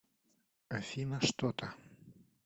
афина что то